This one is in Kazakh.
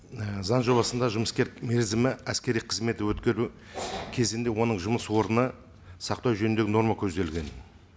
і заң жобасында жұмыскер мерзімі әскери қызметті кезінде оның жұмыс орны сақтау жөніндегі норма көзделген